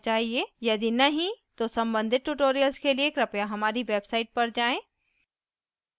यदि नहीं तो सम्बंधित tutorials के लिए कृपया हमारी website पर जाएँ